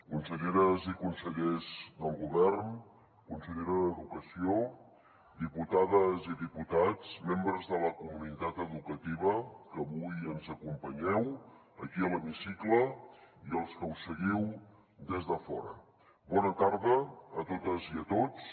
conselleres i consellers del govern consellera d’educació diputades i diputats membres de la comunitat educativa que avui ens acompanyeu aquí a l’hemicicle i els que ho seguiu des de fora bona tarda a totes i a tots